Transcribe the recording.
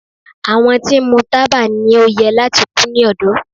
Àwọn tí ń mu taba ni o yẹ lati ku ni ọdọ